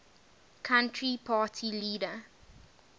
country party leader